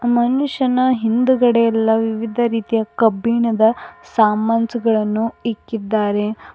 ಮನುಷ್ಯನ ಹಿಂಡ್ಗದೆ ಎಲ್ಲ ವಿವಿಧ ರೀತಿಯ ಕಬ್ಬಿಣದ ಸಮಾನ್ಸ್ ಗಳುನ್ನು ಇಕ್ಕಿದ್ದಾರೆ.